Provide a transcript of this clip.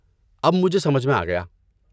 اب مجھے سمجھ میں آ گیا۔